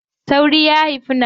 Sauri ya haifi nawa.